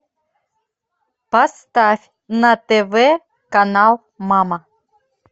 поставь на тв канал мама